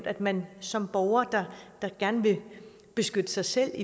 at man som borger der gerne vil beskytte sig selv